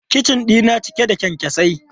Kicin dina cike da kyankyasai.